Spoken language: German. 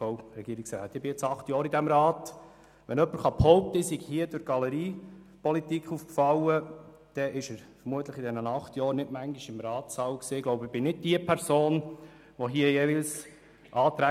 Wenn jemand behaupten kann, ich sei durch Galeriepolitik aufgefallen, war er vermutlich während den vergangenen acht Jahren nicht oft hier im Ratssaal.